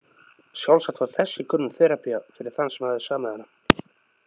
Sjálfsagt var þessi könnun terapía fyrir þann sem hafði samið hana.